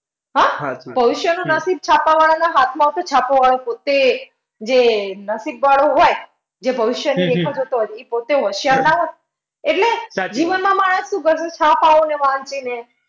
હા? ભવિષ્યનું નસીબ છાપવાં વાળાના હાથમાં હોત તો છાપવાવાળો એ જે નસીબ વાળો હોય, જે ભવિષ્યની રેખા જોતો હોય એ પોતે હોશિયાર ના હોત? એટલે જીવનમાં માણસ શું કરશે કે